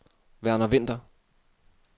Verner Vinther